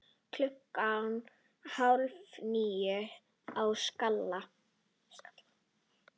Klukkan hálf níu á Skalla!